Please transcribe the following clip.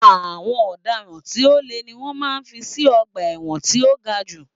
Àwọn ọ̀daràn tí o le ni wọ́n máa ń fí sí ọ̀gba ẹ̀wọ̀n tí o ga jù.